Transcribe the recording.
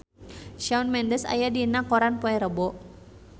Shawn Mendes aya dina koran poe Rebo